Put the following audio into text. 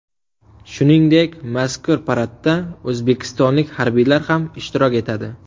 Shuningdek, mazkur paradda o‘zbekistonlik harbiylar ham ishtirok etadi .